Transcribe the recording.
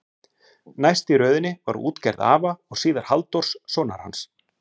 Næst í röðinni var útgerð afa og síðar Halldórs, sonar hans.